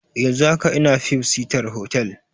Yanzun haka ina fib sitar hotal